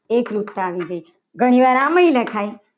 એકરૂપતા આવી ગઈ. ઘણીવાર આમે લખાય.